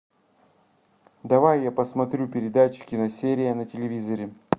давай я посмотрю передачу киносерия на телевизоре